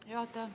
Juhataja!